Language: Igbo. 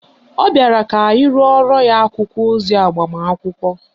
Ọ bịara ka anyị rụorọ ya akwụkwọ ozi agbamakwụkwọ